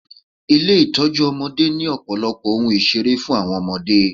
Ilé Ìtọ́jú ọmọdé ni ọ̀pọ̀lọpọ̀ ohun ìṣeré fún àwọn ọmọdé.